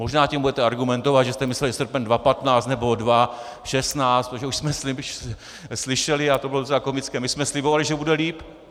Možná tím budete argumentovat, že jste mysleli srpen 2015 nebo 2016, protože už jsme slyšeli, a to bylo docela komické: My jsme slibovali, že bude líp.